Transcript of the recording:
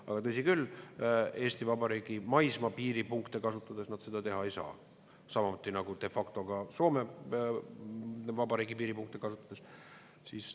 Aga tõsi küll, Eesti Vabariigi maismaapiiripunkte kasutades nad seda teha ei saa, samuti nagu de facto ka Soome Vabariigi piiripunkte kasutades.